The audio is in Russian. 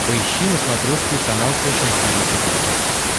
поищи на смотрешке канал фэшн ти ви четыре ка